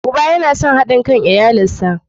Uba yana son hadi kan iyalansa.